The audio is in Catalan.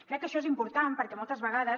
crec que això és important perquè moltes vegades